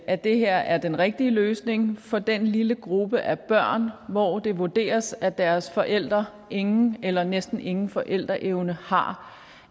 at det her er den rigtige løsning for den lille gruppe af børn hvor det vurderes at deres forældre ingen eller næsten ingen forældreevne har